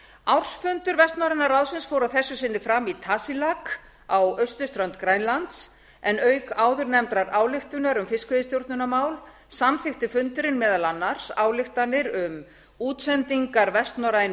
ársfundur vestnorræna ráðsins fór að þessu sinni fram í tasiilaq á austurströnd grænlands en auk áðurnefndrar ályktunar um fiskveiðistjórnarmál samþykkti fundurinn meðal annars ályktanir um útsendingar vestnorrænu